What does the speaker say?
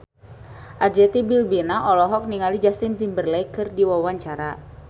Arzetti Bilbina olohok ningali Justin Timberlake keur diwawancara